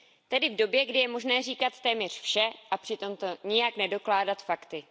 Tedy v době, kdy je možné říkat téměř vše a přitom to nijak nedokládat fakty.